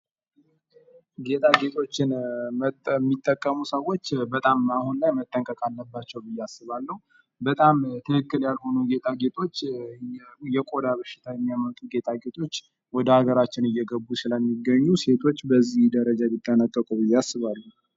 ጌጣጌጦችን የሚጠቀሙ ሰዎች በጣም አሁን ላይ መጠንቀቅ አለባቸው ብዬ አስባለሁ በጣም ትክክል ያልሆኑ ጌጣጌጦች የቆዳ በሽን የሚያመጡ ጌጣጌጦች ወደ ሃገራችን እየገቡ ስለሚገኙ ሴቶች በዚህ ደረጃ ቢጠነቀቁ ብዬ አስባለሁ።